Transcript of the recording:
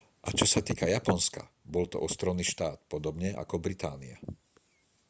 a čo sa týka japonska bol to ostrovný štát podobne ako británia